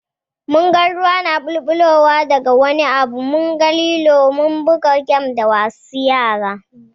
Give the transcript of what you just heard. Mun ga ruwa na ɓulɓulowa da ga wani abu, munga lilo Kuma mun buga gem da wasu yara.